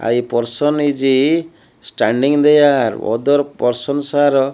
i person iz a standing there other persons are--